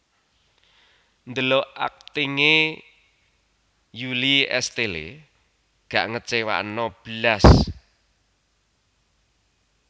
Ndelok akting e Julie Estelle gak ngecewano blas